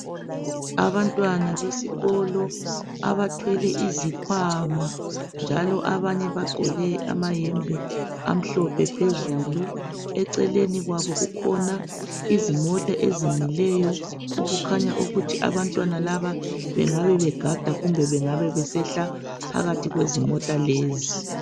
Abantwana besikolo abathwele izikhwama njalo abanye bagqoke amayembe amhlophe phezulu. Eceleni kwabo kukhona izimota ezimileyo okukhanya ukuthi abantwana laba bengabe begada kumbe besehla phakathi kwezimota lezi.